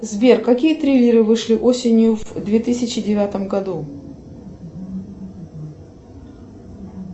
сбер какие триллеры вышли осенью в две тысячи девятом году